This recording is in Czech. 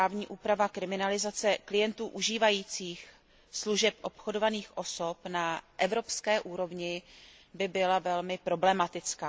právní úprava kriminalizace klientů užívajících služeb obchodovaných osob na evropské úrovni by byla velmi problematická.